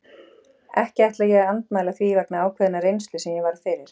Ekki ætla ég að andmæla því vegna ákveðinnar reynslu sem ég varð fyrir.